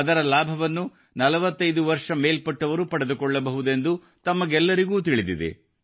ಅದರ ಲಾಭವನ್ನು 45 ವರ್ಷ ಮೇಲ್ಪಟ್ಟವರು ಪಡೆದುಕೊಳ್ಳಬಹುದೆಂದು ತಮಗೆಲ್ಲರಿಗೂ ತಿಳಿದಿದೆ